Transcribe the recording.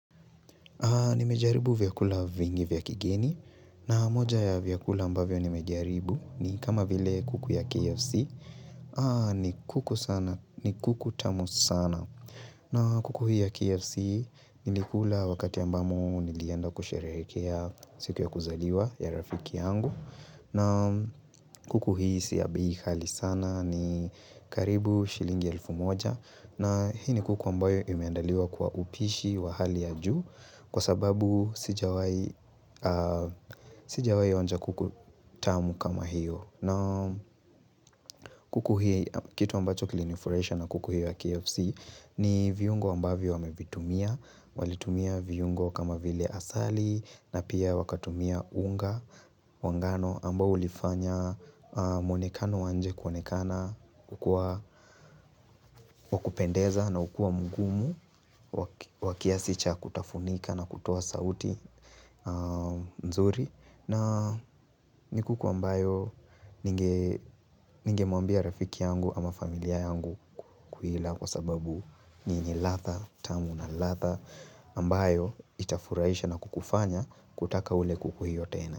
Nimejaribu vyakula vingi vya kigeni na moja ya vyakula ambavyo nimejaribu ni kama vile kuku ya KFC ni kuku tamu sana na kuku hii ya KFC nilikula wakati ambamo nilienda kusherekea siku ya kuzaliwa ya rafiki yangu na kuku hii si ya bei ghali sana ni karibu shilingi elfu moja na hii ni kuku ambayo imeandaliwa kwa upishi wa hali ya juu Kwa sababu sijawai onja kuku tamu kama hiyo. Na kuku hii kitu ambacho kilinifurahisha na kuku hiyo ya KFC ni viungo ambavyo wamevitumia. Walitumia viungo kama vile asali na pia wakatumia unga wa ngano ambao ulifanya muonekano wa nje kuonekana. Kukua wa kupendeza na ukua mgumu wa kiasi cha kutafunika na kutoa sauti mzuri na ni kuku ambayo ningemwambia rafiki yangu ama familia yangu kukuila kwa sababu ni yenye latha tamu na latha ambayo itafuraisha na kukufanya kutaka ule kuku hiyo tena.